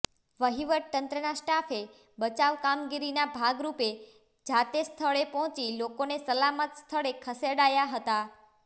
વહીવટી તંત્રના સ્ટાફે બચાવ કામગીરીના ભાગરૃપે જાતે સ્થળે પહોંચી લોકોને સલામત સ્થળે ખસેડાયા હતા